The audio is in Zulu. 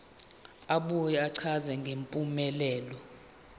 abuye achaze ngempumelelo